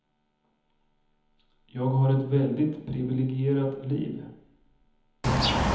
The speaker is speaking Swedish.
Jag har ett väldigt privilegierat liv.